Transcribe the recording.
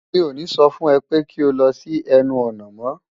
Mi ò ní so fun ę pé kí o lo sí ęnu ònà mó!